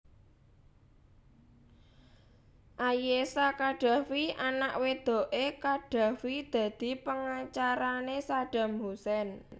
Ayesha Khadafi anak wedoké Qaddafi dadi pengacarané Saddam Hussein